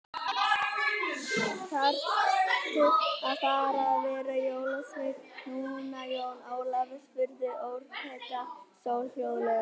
Þaðrftu að fara að vera jólasveinn núna, Jón Ólafur, spurði Orkídea Sól hljóðlega.